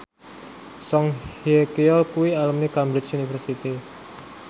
Song Hye Kyo kuwi alumni Cambridge University